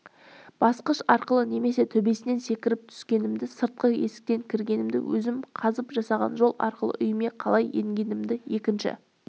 басқыш арқылы немесе төбесінен секіріп түскенімді сыртқы есіктен кіргенімді өзім қазып жасаған жол арқылы үйіме қалай енгенімді екінші